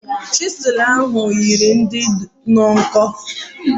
Chizul ahu yiri di nnọọ nkọ